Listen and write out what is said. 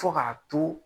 Fo k'a to